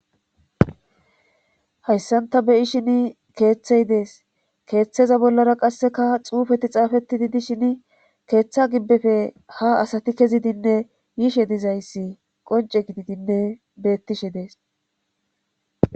Hayssan ta be7ishini keehtey dees keetheza bollarakka qasse xuufeti xaaafettidi dishini keetha gimbbefe haa asati kezidinne yishe dizayssi qoncce gididinne beettishe dees.